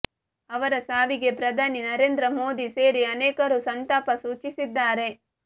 ಅವರ ಸಾವಿಗೆ ಪ್ರಧಾನಿ ನರೇಂದ್ರ ಮೋದಿ ಸೇರಿ ಅನೇಕರು ಸಂತಾಪ ಸೂಚಿಸಿದ್ದಾರೆ